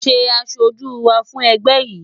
Ṣé aṣojú wà fún ẹgbẹ́ yín?